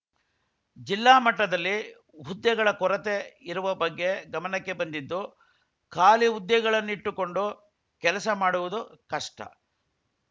ಜಿಲ್ಲಾ ಮಟ್ಟದಲ್ಲಿ ಹುದ್ದೆಗಳ ಕೊರತೆ ಇರುವ ಬಗ್ಗೆ ಗಮನಕ್ಕೆ ಬಂದಿದ್ದು ಖಾಲಿ ಹುದ್ದೆಗಳನ್ನಿಟ್ಟುಕೊಂಡು ಕೆಲಸ ಮಾಡುವುದು ಕಷ್ಟ